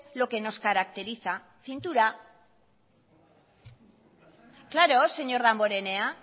lo que nos caracteriza cintura claro señor damborenea